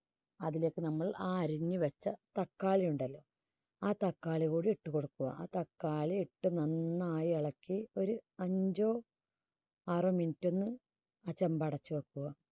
അതിലേക്ക് നമ്മൾ ആ അരിഞ്ഞു വെച്ച തക്കാളി ഉണ്ടല്ലോ ആ തക്കാളി കൂടി ഇട്ടു കൊടുക്കുക. തക്കാളി ഇട്ട് നന്നായി ഇളക്കി ഒരു അഞ്ചോ ആറോ minute ാന്ന് ആ ചെമ്പ് അടച്ചു വെക്കുക.